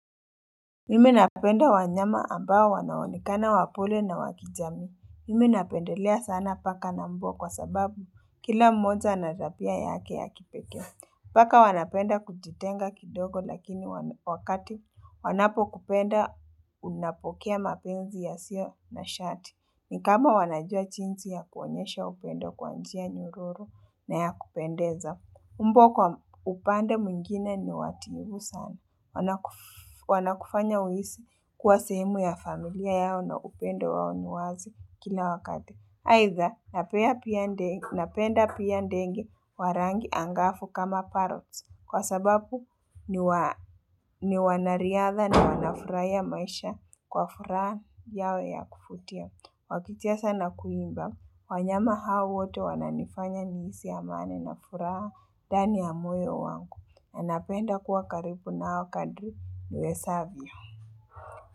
Mimi napenda wanyama ambao wanaonekana wapole na wakijamii. Mimi napendelea sana paka na mbwa kwa sababu kila mmoja ana tabia yake ya kipekee. Paka wanapenda kujitenga kidogo lakini wakati wanapo kupenda unapokea mapenzi yasiyo na shati. Ni kama wanajua jinsi ya kuonyesha upendo kwa njia nyororo na ya kupendeza. Mbwa kwa upande mwingine ni watiifu sana. Wanakufanya uhisi kuwa sehemu ya familia yao na upendo wao ni wazi kila wakati. Aidha, napenda pia ndege wa rangi angafu kama parrots. Kwa sababu ni wanariadha na wanafurahia maisha kwa furaha yao ya kuvutia. Wakicheza na kuimba, wanyama hao wote wananifanya nihisi amani na furaha ndani ya moyo wangu. Anapenda kuwa karibu nao kadri niwezavyo.